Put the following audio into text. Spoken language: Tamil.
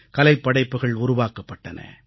கலைப்படைப்புகள் உருவாக்கப்படன